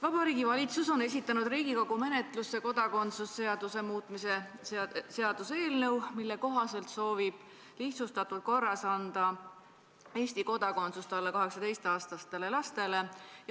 Vabariigi Valitsus on esitanud Riigikogu menetlusse kodakondsuse seaduse muutmise seaduse eelnõu, mille kohaselt soovitakse alla 18-aastastele lastele anda Eesti kodakondsus lihtsustatud korras.